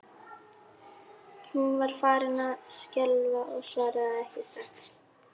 Hún var farin að skjálfa og svaraði ekki strax.